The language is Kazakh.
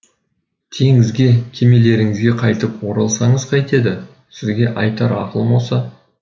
теңізге кемелеріңізге қайтып оралсаңыз қайтеді сізге айтар ақылым осы